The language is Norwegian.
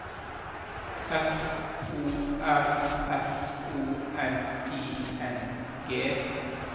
F O R S O N I N G